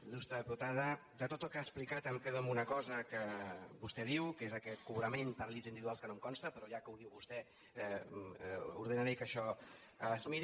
il·explicat em quedo amb una cosa que vostè diu que és aquest cobrament per llits individuals que no em consta però ja que ho diu vostè ordenaré que això es miri